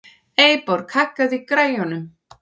Eyborg, hækkaðu í græjunum.